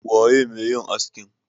waye me yin askin?